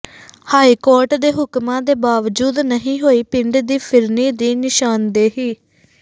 high court ਦੇ ਹੁਕਮਾਂ ਦੇ ਬਾਵਜੂਦ ਨਹੀਂ ਹੋਈ ਪਿੰਡ ਦੀ ਫਿਰਨੀ ਦੀ ਨਿਸ਼ਾਨਦੇਹੀ